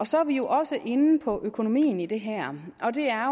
så er vi jo også inde på økonomien i det her og det er